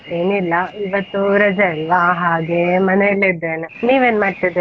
ಏನ್ ಇಲ್ಲ ಇವತ್ತು ರಜೆ ಅಲ್ವಾ ಹಾಗೆ ಮನೆಯಲ್ಲೇ ಇದ್ದೇನೆ, ನೀವ್ ಏನ್ ಮಾಡ್ತಿದ್ದೀರಾ?